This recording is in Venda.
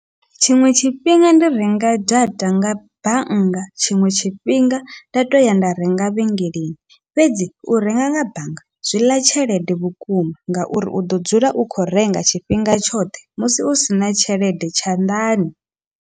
Tshiṅwe tshifhinga ndi renga data nga bannga, tshiṅwe tshifhinga nda toya nda renga vhengeleni fhedzi u renga nga bannga zwiḽa tshelede vhukuma, ngauri uḓo dzula u kho renga tshifhinga tshoṱhe musi u sina tshelede tshanḓani.